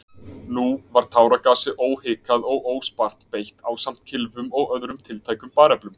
Nú var táragasi óhikað og óspart beitt ásamt kylfum og öðrum tiltækum bareflum.